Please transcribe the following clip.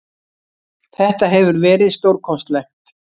Þetta hefur verið stórkostlegt.